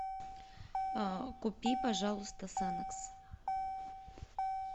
купи пожалуйста санокс